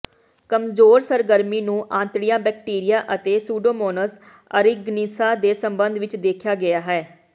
ਕਮਜ਼ੋਰ ਸਰਗਰਮੀ ਨੂੰ ਆਂਤੜੀ ਬੈਕਟੀਰੀਆ ਅਤੇ ਸੂਡੋਮੋਨਸ ਅਰੀਗਨੀਸਾ ਦੇ ਸੰਬੰਧ ਵਿੱਚ ਦੇਖਿਆ ਗਿਆ ਹੈ